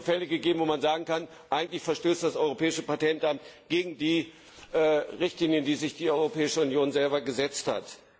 Es hat mehrere Fälle gegeben, wo man sagen kann, eigentlich verstößt das Europäische Patentamt gegen die Richtlinien, die sich die Europäische Union selber gesetzt hat.